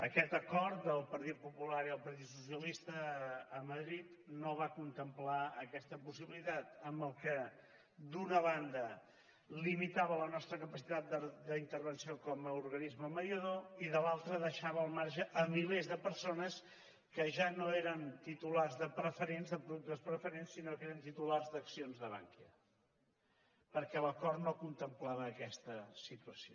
aquest acord del partit popular i del partit socialista a madrid no va contemplar aquesta possibilitat amb la qual cosa d’una banda limitava la nostra capacitat d’intervenció com a organisme mediador i de l’altra deixava al marge milers de persones que ja no eren titulars de preferents de productes preferents sinó que eren titulars d’accions de bankia perquè l’acord no contemplava aquesta situació